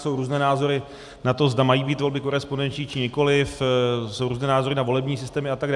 Jsou různé názory na to, zda mají být volby korespondenční, či nikoliv, jsou různé názory na volební systémy atd.